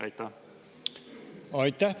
Aitäh!